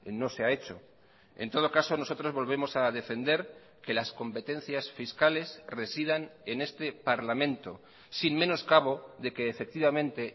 no se ha hecho en todo caso nosotros volvemos a defender que las competencias fiscales residan en este parlamento sin menos cabo de que efectivamente